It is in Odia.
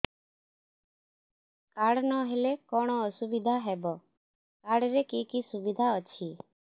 କାର୍ଡ ନହେଲେ କଣ ଅସୁବିଧା ହେବ କାର୍ଡ ରେ କି କି ସୁବିଧା ଅଛି